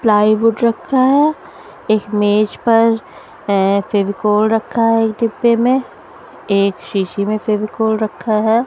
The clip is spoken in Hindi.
प्लाई वुड रखा है एक मेज पर अ फेविकोल रखा है एक डिब्बे में एक शीशी में फेविकोल रखा है।